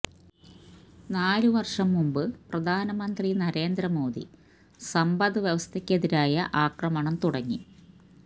നാല് വര്ഷം മുമ്പ് പ്രധാനമന്ത്രി നരേന്ദ്ര മോദി സമ്പദ് വ്യവസ്ഥയ്ക്കെതിരായ ആക്രമണം തുടങ്ങി